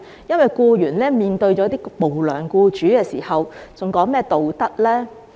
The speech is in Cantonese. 當僱員面對無良僱主時，還談何道德呢？